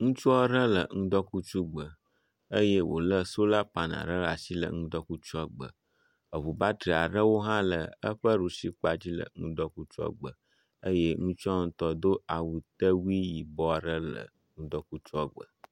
Ŋutsu aɖe le ŋgɔkutsu gbe eye wòlé solar panel ɖe asi le ŋdɔkutsuagbe, eŋu battery aɖewo hã le eƒe ɖusi kpa dzi le ŋdɔkutsua gbe eye ŋutsua ŋutɔ ɖo awu tewui yibɔ aɖe le ŋdɔkutsua gbe.